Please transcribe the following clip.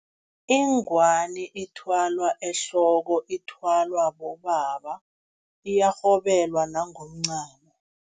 Ingwani ithwalwa ehloko, ithwalwa bobaba, iyarhobelwa nangomncamo.